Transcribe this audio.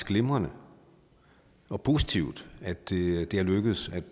glimrende og positivt at det er lykkedes at